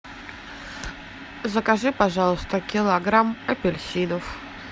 закажи пожалуйста килограмм апельсинов